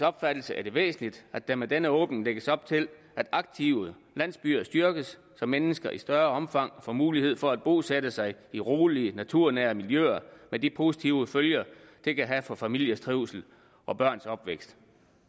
opfattelse er det væsentligt at der med denne åbning lægges op til at aktive landsbyer styrkes så mennesker i større omfang får mulighed for at bosætte sig i rolige naturnære miljøer med de positive følger det kan have for familiers trivsel og børns opvækst